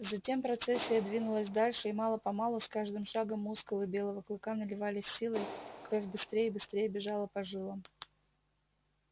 затем процессия двинулась дальше и мало помалу с каждым шагом мускулы белого клыка наливались силой кровь быстрее и быстрее бежала по жилам